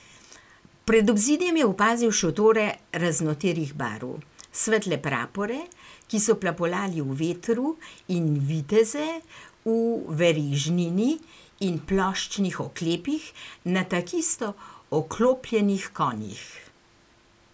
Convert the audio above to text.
Pred obzidjem je opazil šotore raznoterih barv, svetle prapore, ki so plapolali v vetru, in viteze v verižnini in ploščnih oklepih na takisto oklopljenih konjih.